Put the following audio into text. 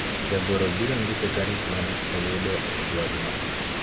jagoro biro ndiko tarik mane oyudo e ywagno